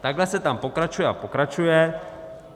- Takhle se tam pokračuje a pokračuje.